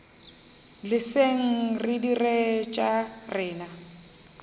leseng re dire tša rena